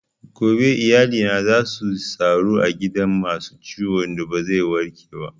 Gobe iyalina za suyi taro a gidan masu ciwon da ba zai warke ba